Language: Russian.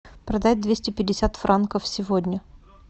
продать двести пятьдесят франков сегодня